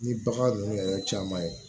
Ni bagan ninnu yɛrɛ caman ye